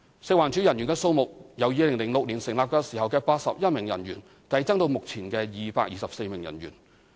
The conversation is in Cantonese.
食環署人員的數目由2006年成立時只有81名人員，遞增至現時224名人員。